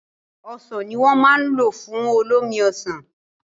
Ọsàn ní wọ́n ma lò fún olómi Ọsàn